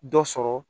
Dɔ sɔrɔ